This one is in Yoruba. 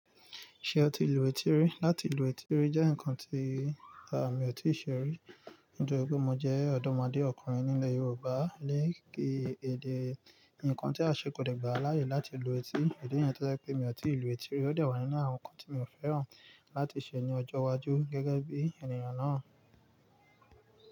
Ṣé o ti lu etí rí? Lati lu etí rí jẹ́ nǹkan tí àmi ò tí ì ṣe rí nítorí pé mo jẹ́ ọ̀dọ́mọdẹ ọkùnrin nílẹ̀ Yorùbá lé kí èdè, ǹkan tí a ṣe kò dẹ́gbàá láyé láti lu etí. Ìdí nìyẹn tó jẹ́ pé mi ò tí ì lu etí rí ó dẹ̀ wà nínú àwọn nǹkan tí mi ò fẹ́ràn láti ṣe ní ọjọ́ iwájú gẹ́gẹ́ bí ènìyàn náà.